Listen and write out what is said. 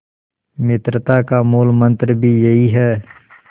मित्रता का मूलमंत्र भी यही है